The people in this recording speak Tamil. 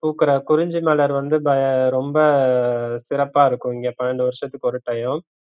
பூக்குற குறிஞ்சி மலர் வந்து ப ரொம்ப சிறப்பா இருக்கும் இங்க பன்னண்டு வருஷத்துக்கு ஒரு time